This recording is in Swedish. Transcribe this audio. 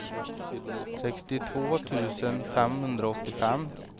sextiotvå tusen femhundraåttiofem